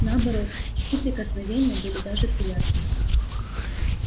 наоборот чти прикосновения были даже приятны